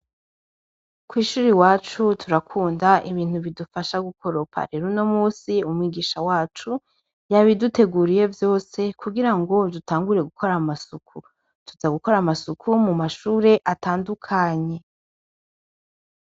Kw'ishuri iwacu turakunda ibintu bidufasha gukoropa rero no musi umwigisha wacu yabiduteguriye vyose kugira ngo dutangure gukora amasuku tuza gukora amasuku mu mashure atandukanye.